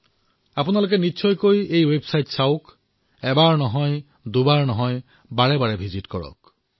আপোনালোকে নিশ্চয়কৈ এই ৱেবছাইটটো পৰিদৰ্শন কৰক আৰু মই কৈছো বাৰেবাৰে কৰক